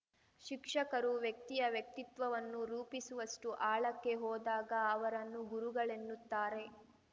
ಶಿಕ್ಷಕರು ವ್ಯಕ್ತಿಯ ವ್ಯಕ್ತಿತ್ವವನ್ನು ರೂಪಿಸುವಷ್ಟು ಆಳಕ್ಕೆ ಹೋದಾಗ ಅವರನ್ನು ಗುರುಗಳೆನ್ನುತ್ತಾರೆ